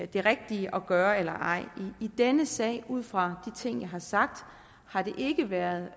det rigtige at gøre eller ej i denne sag ud fra de ting jeg har sagt har det ikke været